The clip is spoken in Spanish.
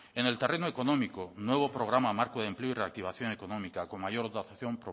en el terreno económico nuevo programa marco de empleo y reactivación económica con mayor dotación